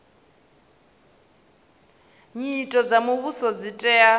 nyito dza muvhuso dzi tea